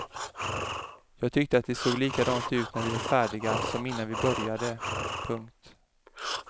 Jag tyckte att det såg likadant ut när vi var färdiga som innan vi började. punkt